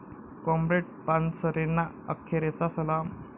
comrade पानसरेंना अखेरचा सलाम